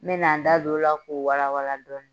N bɛna n da don o la k'o walawala dɔɔnin